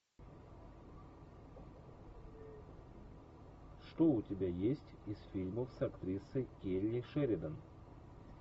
что у тебя есть из фильмов с актрисой келли шеридан